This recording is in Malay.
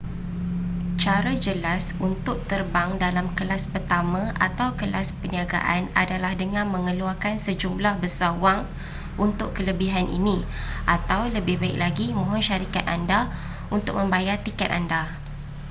cara jelas untuk terbang dalam kelas pertama atau kelas perniagaan adalah dengan mengeluarkan sejumlah besar wang untuk kelebihan ini atau lebih baik lagi mohon syarikat anda untuk membayar tiket anda